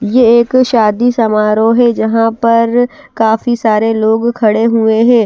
ये एक शादी समारोह है जहाँ पर काफी सारे लोग खड़े हुए हैं।